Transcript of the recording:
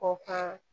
O ka